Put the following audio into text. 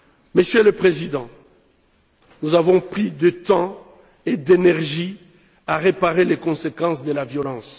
Monsieur le Président, nous avons pris trop de temps et d'énergie à réparer les conséquences de la violence.